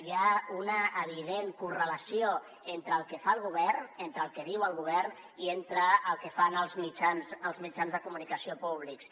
hi ha una evident correlació entre el que fa el govern entre el que diu el govern i entre el que fan els mitjans de comunicació públics